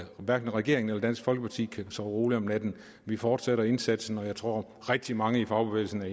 hverken regeringen eller dansk folkeparti kan sove roligt om natten vi fortsætter indsatsen og jeg tror rigtig mange i fagbevægelsen